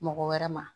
Mɔgɔ wɛrɛ ma